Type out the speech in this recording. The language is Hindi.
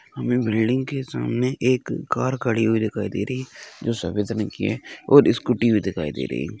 हमें बिल्डिंग के सामने एक कार खड़ी हुई दिखाई दे रही है जो सफेद रंग की है और स्कूटी भी दिखाई दे रही है।